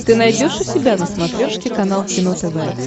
ты найдешь у себя на смотрешке канал кино тв